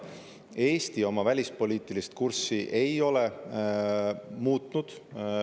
Eesti oma välispoliitilist kurssi ei ole muutnud.